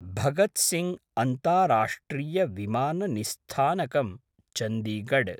भगत् सिंग् अन्ताराष्ट्रीय विमान निस्थानकम्, चन्दिगड्